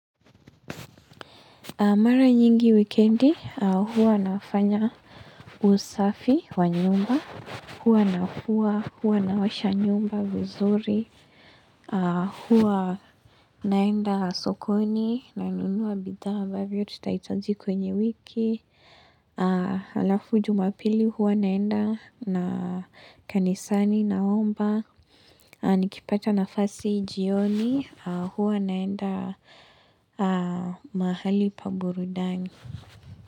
Mara nyingi wikendi, huwa nafanya usafi wa nyumba, huwa na huwa, huwa naosha nyumba vizuri, huwa naenda sokoni nanunua bidhaa ambavyo tutahitaji kwenye wiki. Halafu jumapili huwa naenda na kanisani naomba Nikipata nafasi jioni huwa naenda mahali pa burudani.